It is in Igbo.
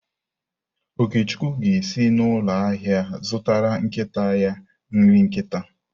Okechukwu ga-esi n’ụlọ ahịa zụtara nkịta ya nri nkịta.